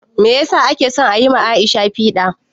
Meyasa ake son ayi ma Aisha piɗa?